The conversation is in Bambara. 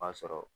O b'a sɔrɔ